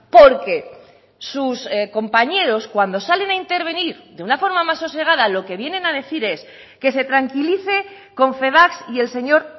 porque sus compañeros cuando salen a intervenir de una forma más sosegada lo que vienen a decir es que se tranquilice confebask y el señor